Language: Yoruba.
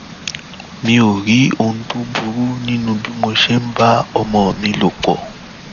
mi ò rí ohun tó burú nínú bí mo ṣe ń bá ọmọ mi lò pọ